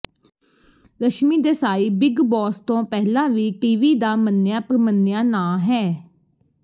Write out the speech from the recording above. ਰਸ਼ਮੀ Desai big boss ਤੋਂ ਪਹਿਲਾਂ ਵੀ ਟੀਵੀ ਦਾ ਮੰਨਿਆ ਪ੍ਰਮੰਨਿਆ ਨਾਂਅ ਹੈ